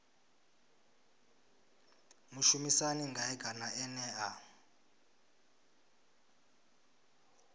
mushumisani ngae kana ene a